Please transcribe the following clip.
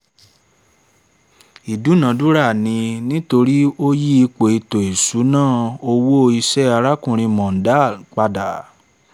ìdúnadúrà ni nítorí ó yí ipò ètò ìṣúná owó iṣẹ́ arákùnrin mondal pada